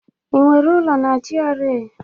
Ị nwere ụlọ na GRA?